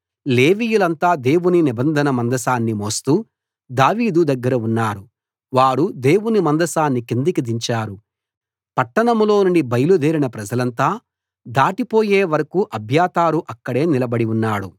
సాదోకు లేవీయులంతా దేవుని నిబంధన మందసాన్ని మోస్తూ దావీదు దగ్గర ఉన్నారు వారు దేవుని మందసాన్ని కిందికి దించారు పట్టణంలోనుండి బయలుదేరిన ప్రజలంతా దాటిపోయే వరకూ అబ్యాతారు అక్కడే నిలబడి ఉన్నాడు